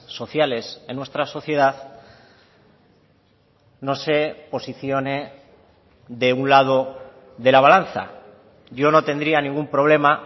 sociales en nuestra sociedad no se posicione de un lado de la balanza yo no tendría ningún problema